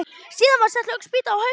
Síðan var sett löng spýta á hausinn.